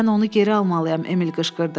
Mən onu geri almalıyam, Emil qışqırdı.